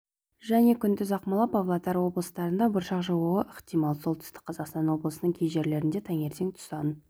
және күндіз ақмола павлодар облыстарында бұршақ жаууы ықтимал солтүстік қазақстан облысының кей жерлерінде таңертең тұсан